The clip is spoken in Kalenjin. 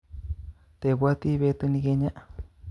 Tebwate betunikinye